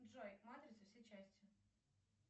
джой матрица все части